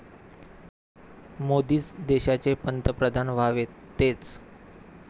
मोदीच देशाचे पंतप्रधान व्हावेत, तेच